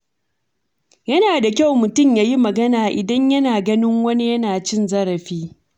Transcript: Yana da kyau mutum ya yi magana idan yana ganin wani yana cin zarafi.